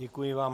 Děkuji vám.